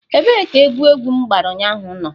Ebee ka egwu egwu m gbara ụnyaahụ nọ?